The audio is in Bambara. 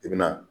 I bɛna